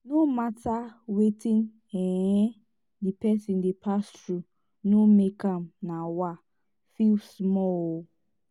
no mata wetin um di person dey pass thru no mek am um feel small ooo